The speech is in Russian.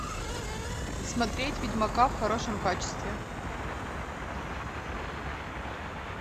смотреть ведьмака в хорошем качестве